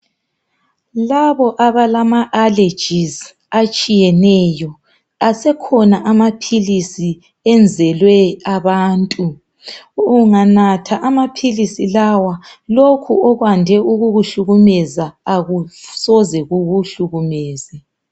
Labo abalama allergies atshiyeneyo asekhona amaphilisi enzelwe abantu unganatha amaphilisi lawa lokhu okwandi ukukuhlukumeza akusoze kukuhlukumeze